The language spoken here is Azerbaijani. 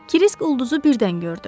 Kırisk ulduzu birdən gördü.